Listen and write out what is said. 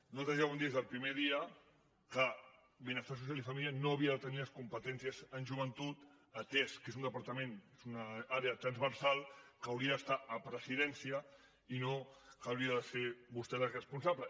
nosaltres ja vam dir des del primer dia que benestar social i família no havia de tenir les competències en joventut atès que és un departament és una àrea transversal que hauria d’estar a presidència i no n’hauria de ser vostè la responsable